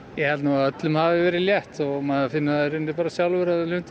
ég held að öllum hafi verið létt lundin